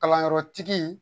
Kalanyɔrɔtigi